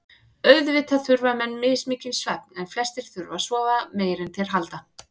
Auðvitað þurfa menn mismikinn svefn en flestir þurfa að sofa meira en þeir halda.